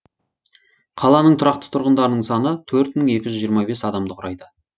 қаланың тұрақты тұрғындарының саны төрт мың екі жүз жиырма бес адамды құрайды